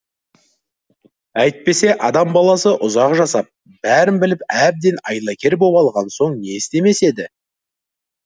әйтпесе адам баласы ұзақ жасап бәрін біліп әбден айлакер боп алған соң не істемес еді